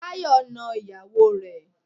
Táyọ̀ na ìyàwó rẹ̀.